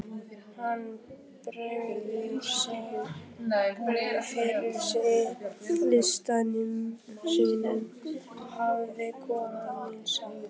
Hann bregður fyrir sig listum sínum hafði kona mín sagt.